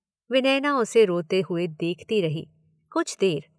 विनयना उसे रोते हुए देखती रही कुछ देर।